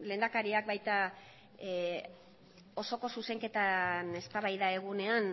lehendakariak baita osoko zuzenketan eztabaida egunean